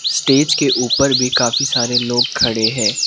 Stage के ऊपर भी काफी सारे लोग खड़े है।